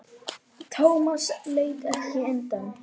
Thomas leit ekki undan.